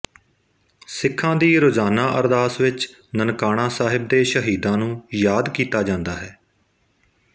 ਸਿੱਖਾ ਦੀ ਰੋਜਾਨਾ ਅਰਦਾਸ ਵਿੱਚ ਨਨਕਾਣਾ ਸਾਹਿਬ ਦੇ ਸਹੀਦਾਂ ਨੂੰ ਯਾਦ ਕੀਤਾ ਜਾਂਦਾ ਹੈ